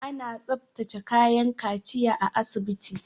Ana tsaftace kayan kaciya a asibiti.